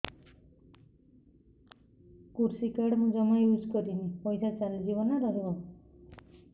କୃଷି କାର୍ଡ ମୁଁ ଜମା ୟୁଜ଼ କରିନି ପଇସା ଚାଲିଯିବ ନା ରହିବ